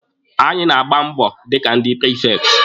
Anyị na-agba mbọ dịka ndị prifekti.